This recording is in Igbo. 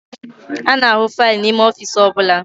A na-ahụ faịlụ n'ime ọfiisi ọbụla